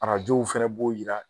Arajow fɛnɛ b'o yira.